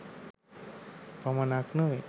පමණක් නොවේ.